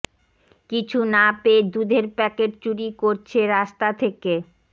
কিছু না পেয়ে দুধের প্যাকেট চুরি করছে রাস্তা থেকে